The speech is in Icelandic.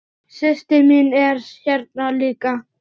Systir mín er hérna líka.